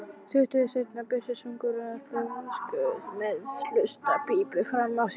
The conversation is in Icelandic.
Stuttu seinna birtist ungur aðstoðarlæknir með hlustunarpípu framan á sér.